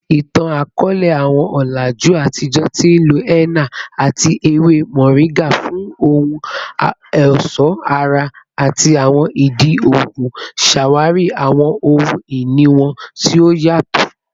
Itan-akọọlẹ, awọn ọlaju atijọ ti nlo henna ati ewe moringa fun ohun ọṣọ ara ati awọn idi oogun, ṣawari awọn ohun-ini wọn ti o yatọ.